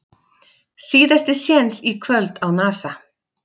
Síðasti séns í kvöld á Nasa